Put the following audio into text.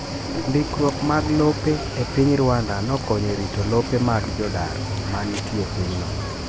Ndikruok mag lope e piny Rwanda nokonyo e rito lope mag jodar ma nitie e pinyno.